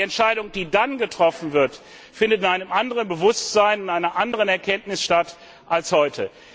Aber die Entscheidung, die dann getroffen wird, findet in einem anderen Bewusstsein, in einer anderen Erkenntnis statt als heute.